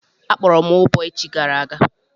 Akpọrọ m ụbọ echi gara aga.